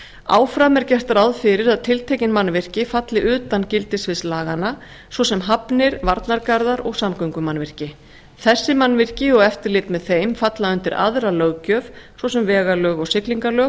áfram er gert ráð fyrir að tiltekin mannvirki falli utan gildissviðs laganna svo sem hafnir varnargarðar og samgöngumannvirki þessi mannvirki og eftirlit með þeim falla undir aðra löggjöf svo sem vegalög og siglingalög